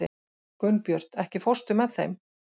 Gunnbjört, ekki fórstu með þeim?